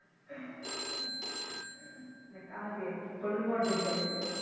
অনেক আগের old model টাইপের